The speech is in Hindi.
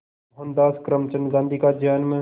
मोहनदास करमचंद गांधी का जन्म